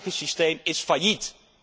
Het huidige systeem is failliet.